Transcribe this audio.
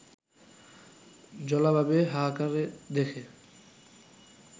জলাভাবে হাহাকার দেখে